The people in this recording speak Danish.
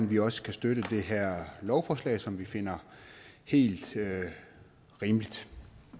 vi også kan støtte det her lovforslag som vi finder helt rimeligt